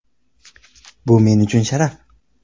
Bu men uchun sharaf.